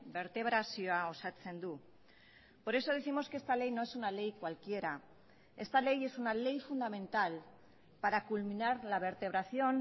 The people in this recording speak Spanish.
bertebrazioa osatzen du por eso décimos que esta ley no es una ley cualquiera esta ley es una ley fundamental para culminar la vertebración